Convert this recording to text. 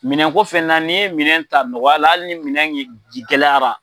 Minɛn ko fɛnɛ na ni ye minɛn ta nɔgɔyala hali minɛn in gɛlɛyara.